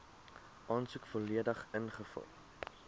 aansoek volledig ingevul